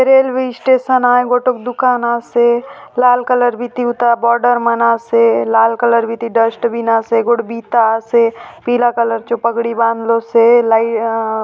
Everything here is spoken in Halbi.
रेलवे स्टेशन आय गोटोक दुकान आसे लाल कलर बीती उता बॉर्डर मन आसे लाल कलर बीती डस्टबीन आसे गोट बिता आसे पीला कलर चो पगड़ी बांधलो से लइ अअअ --